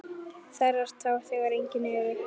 Þerrar tár þegar engin eru.